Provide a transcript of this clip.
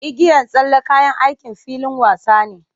Igiyan tsalle kayan aikin filin wasa ne.